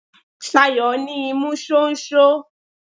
Ṣayọ̀ ní imú ṣóńṣó.